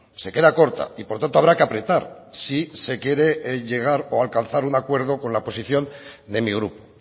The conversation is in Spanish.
se queda corta y por tanto habrá que apretar si se quiere llegar o alcanzar un acuerdo con la posición de mi grupo